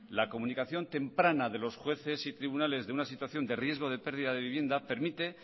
la comunicación temprana de los jueces y tribunales de una situación de riesgo de pérdida de vivienda permite